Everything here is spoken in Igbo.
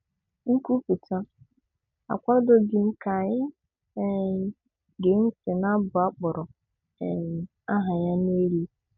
"Nkwupụta, akwadoghim ka ị um gee ntị n'abu akporo um aha ya n'elu.